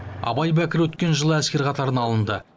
абай бәкір өткен жылы әскер қатарына алынды